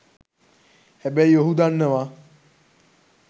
හැබැයි ඔහු දන්නවා